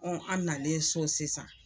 an nalen so sisan.